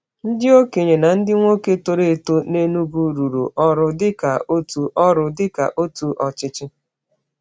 Ndị okenye na ndị nwoke toro eto n’Enugwu rụrụ ọrụ dịka otu ọrụ dịka otu ọchịchị.